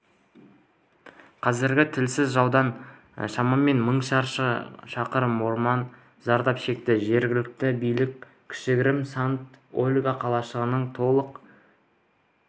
қазір тілсіз жаудан шамамен мың шаршы шақырым орман зардап шекті жергілікті билік кішігірім санта-ольга қалашығының толық